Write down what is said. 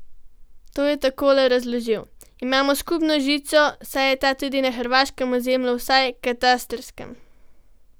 To je takole razložil: "Imamo skupno žico, saj je ta tudi na hrvaškem ozemlju, vsaj katastrskem.